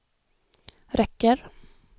räcker